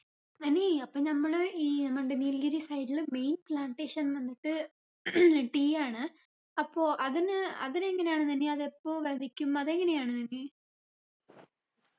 നനീ അപ്പൊ നമ്മള് ഈ എന്നുണ്ട് നീൽഗിരി side ൽ main plantation വന്നിട്ട് tea ആണ് അപ്പൊ അതിന് അതിനെങ്ങനെയാണ് നനി അതെപ്പോ വെതയ്ക്കും അതെങ്ങനെയാണ് നനി